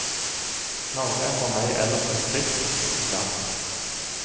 Norge er for meg ellers et fritt og trygt land.